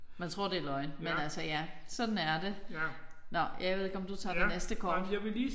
Men tror det er løgn. Men altså ja sådan er det. Nåh jeg ved ikke om du tager det næste kort?